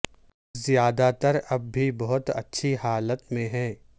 زیادہ تر اب بھی بہت اچھی حالت میں ہیں